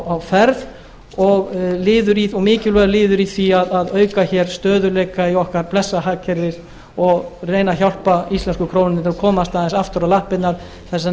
á ferð og mikilvægir liðir í því að auka hér stöðugleika í okkar blessaða hagkerfi og reyna að hjálpa íslensku krónunni til að komast aðeins aftur á lappirnar þess vegna tel